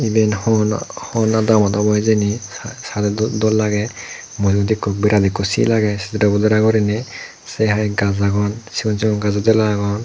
eben hon hon adamot hijeni sadey doll lagey mui yot eko virat sill agey cedere bodara gurney sey hy gaas agon sigon sigon gaaso deyla agon.